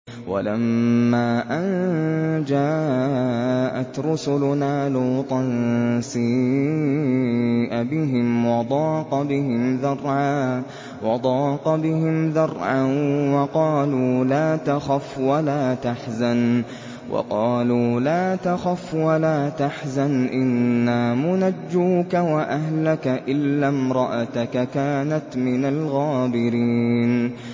وَلَمَّا أَن جَاءَتْ رُسُلُنَا لُوطًا سِيءَ بِهِمْ وَضَاقَ بِهِمْ ذَرْعًا وَقَالُوا لَا تَخَفْ وَلَا تَحْزَنْ ۖ إِنَّا مُنَجُّوكَ وَأَهْلَكَ إِلَّا امْرَأَتَكَ كَانَتْ مِنَ الْغَابِرِينَ